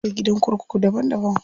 Akwai gidan kurku daban daban.